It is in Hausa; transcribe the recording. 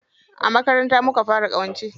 A makaranta muka fara ƙawance.